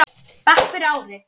bekk fyrir ári.